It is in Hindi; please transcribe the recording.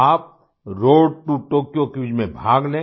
आप रोड टो टोक्यो क्विज में भाग लें